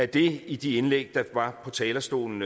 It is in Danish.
det i de indlæg der var fra talerstolen